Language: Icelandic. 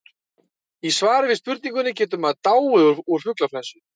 í svari við spurningunni getur maður dáið úr fuglaflensu